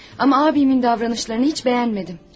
Ama abimin davranışlarını hiç beğenmedim.